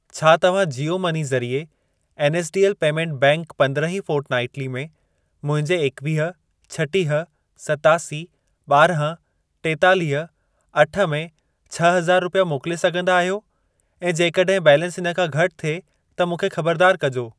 छा तव्हां जीओ मनी ज़रिए एनएसडीएल पेमेंट बैंक पंद्रहीं फोर्टनाइटली में मुंहिंजे एकवीह, छटीह, सतासी, ॿारहं, टेतालीह, अठ में छह हज़ार रुपिया मोकिले सघंदा आहियो ऐं जेकॾहिं बैलेंस इन खां घटि थिए त मूंखे ख़बरदार कजो।